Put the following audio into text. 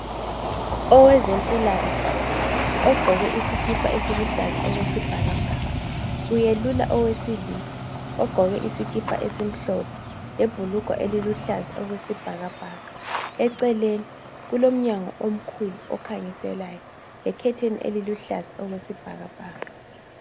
Owezempilakahle ogqoke isikipa esiluhlaza okwesibhakabhaka uyelula owesilisa ogqoke isikipa esimhlophe lebhulugwa eliluhlaza okwesibhakabhaka. Eceleni kulomnyango omkhulu okhanyiselayo, lekhetheni eliluhlaza okwesibhakabhaka.